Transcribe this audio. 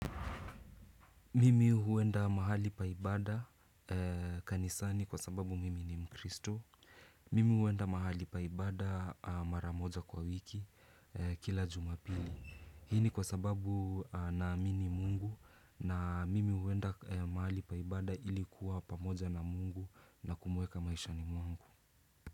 Mimi huenda mahali pa ibada kanisani kwa sababu mimi ni mkristo. Mimi huenda mahali pa ibada maramoja kwa wiki kila jumapili. Hi ni kwa sababu naamini mungu na mimi huenda mahali pa ibada ili kuwa pamoja na mungu na kumweka maishani mungu.